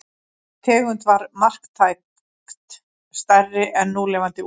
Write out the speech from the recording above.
Þessi tegund var marktækt stærri en núlifandi úlfar.